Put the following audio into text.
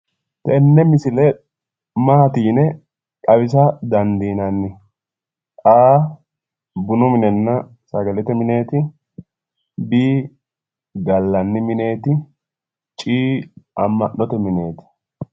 Tenne misile Maati yine xawisa dandiinanni A.bununna sagalete mineeti B, gallanni mineeti C,amma'note mineeti.